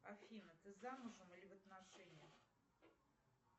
афина ты замужем или в отношениях